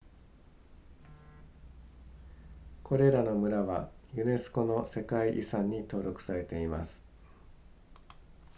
これらの村はユネスコの世界遺産に登録されています